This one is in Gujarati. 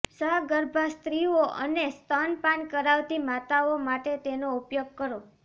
સગર્ભા સ્ત્રીઓ અને સ્તનપાન કરાવતી માતાઓ માટે તેનો ઉપયોગ કરો